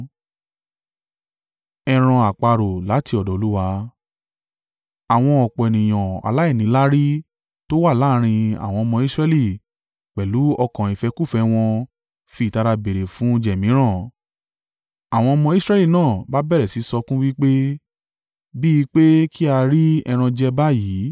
Àwọn ọ̀pọ̀ ènìyàn aláìníláárí tó wà láàrín àwọn ọmọ Israẹli pẹ̀lú ọkàn ìfẹ́kúfẹ̀ẹ́ wọn fi ìtara béèrè fún oúnjẹ mìíràn, àwọn ọmọ Israẹli náà bá bẹ̀rẹ̀ sí í sọkún wí pé, “Bí i pé kí á rí ẹran jẹ báyìí!